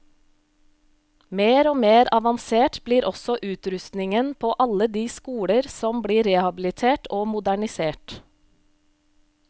Mer og mer avansert blir også utrustningen på alle de skoler som blir rehabilitert og modernisert.